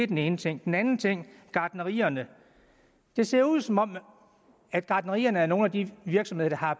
den ene ting den anden ting gartnerierne det ser ud som om gartnerierne er nogle af de virksomheder der har